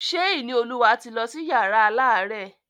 Ṣé Ìníolúwa ti lọ sí yàrá alárẹ̀?